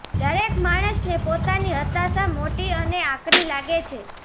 દરેક માણસને પોતાની હતાશા મોટી અને આકરી લાગે છે